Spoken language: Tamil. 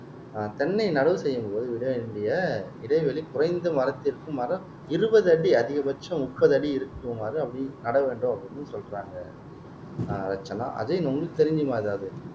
ஆஹ் தென்ன நடவு செய்யும்போது விடவேண்டிய இடைவெளி குறைந்த மரத்திற்கு மரம் இருபது அடி அதிகபட்சம் முப்பது அடி இருக்குமாறு அப்படி நட வேண்டும் அப்படின்னு சொல்றாங்க ஆஹ் ரட்சனா அஜயன் உங்களுக்குத் தெரிஞ்சுமா ஏதாவது